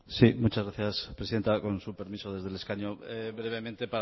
sí muchas gracias presidenta con su permiso desde el escaño brevemente